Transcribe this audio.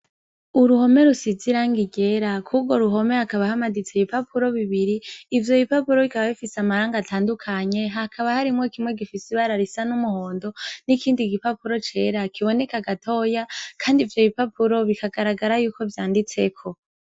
uruhome rusize irangi ryera kurwo ruhome hakaba hamaditse ibipapuro bibiri ivyo bipapuro bikaba bifise amarangi atandukanye hakaba harimwo kimwe gifise ibara ry'umuhondo n'ikindi gipapuro cera kiboneka gatoya kandi ivyo bipapuro bikagaragara yuko vyanditseko.